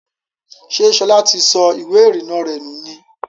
Ṣẹ́ Ṣọlá ti sọ ìwé ìrìnà rẹ nù ni?